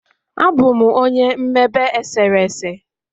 Abụ m onye mmebe eserese.